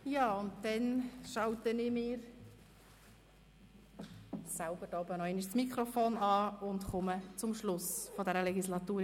Ja, und dann schalte ich mir selber noch einmal das Mikrofon ein und komme zum Schluss dieser Legislatur.